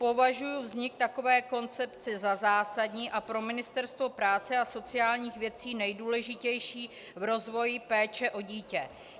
Považuji vznik takové koncepce za zásadní a pro Ministerstvo práce a sociálních věcí nejdůležitější v rozvoji péče o dítě.